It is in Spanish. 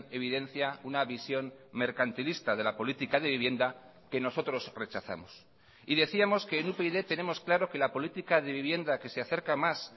evidencia una visión mercantilista de la política de vivienda que nosotros rechazamos y decíamos que en upyd tenemos claro que la política de vivienda que se acerca más